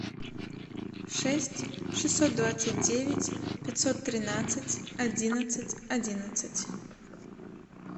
шесть шестьсот двадцать девять пятьсот тринадцать одиннадцать одиннадцать